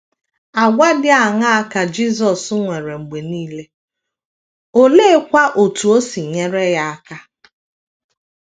Àgwà dị aṅaa ka Jisọs nwere mgbe nile, oleekwa otú o si nyere ya aka?